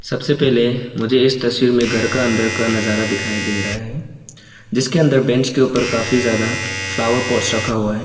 सबसे पहले मुझे इस तस्वीर में घर का अंदर का नजारा दिखाई दे रहा है जिसके अंदर बेंच के ऊपर काफी ज्यादा फ्लावर पॉट रखा हुआ है।